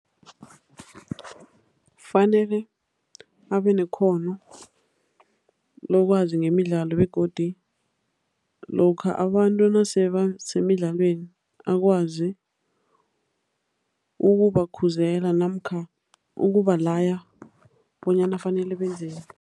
Fanele abenekghono lokwazi ngemidlalo begodi lokha abantu nasebasemidlalweni, akwazi ukubakhuzela namkha ukubalaya bonyana fanele benzeni.